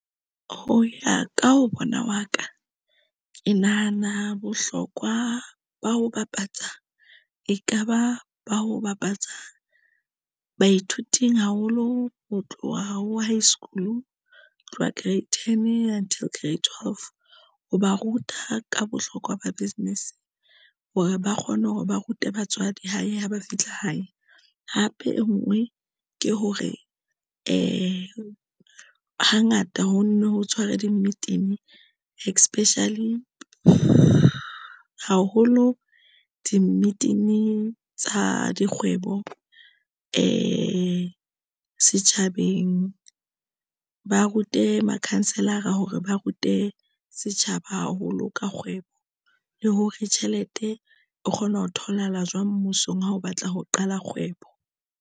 Ho ya ka ha bona wa ka ke nahana bohlokwa ba ho bapatsa, ekaba ba ho bapatsa baithuti haholo ho tloha ho high school hi tloha grade ten until grade twelve. Ho ba ruta ka bohlokwa ba business hore ba kgone hore ba rute batswadi hae, ha ba fihla hae. Hape e nngwe ke hore hangata ho nne ho tshwara di-meeting especial haholo. Di-meeting tsa dikgwebo di setjhabeng, ba rute makhanselara hore ba rute setjhaba haholo ka kgwebo le hore tjhelete o kgona ho tholahala jwang mmusong. Ha o batla ho qala kgwebo.